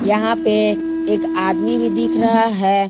यहां पे एक आदमी भी दिख रहा है।